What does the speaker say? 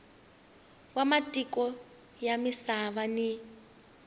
wa matiko ya misava ni